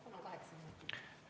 Palun kaheksa minutit!